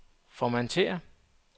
formatér